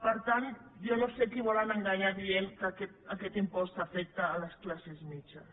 per tant jo no sé qui volen enganyar dient que aquest impost afecta les classes mitjanes